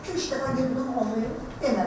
2-3 dəfə dedim olmayıb.